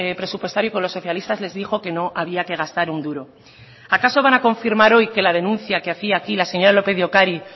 presupuestario con los socialistas les dijo que no había que gastar un duro acaso van a confirmar hoy que la denuncia que hacía aquí la señora lópez de ocariz